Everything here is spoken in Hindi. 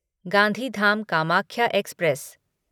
गांधीधाम कामाख्या एक्सप्रेस